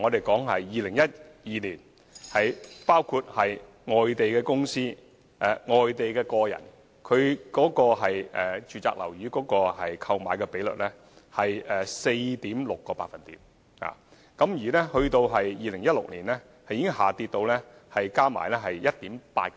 舉例來說，外地公司和外地個人買家購買住宅樓宇的比率在2012年合計為 4.6%， 到了2016年已跌至 1.8%。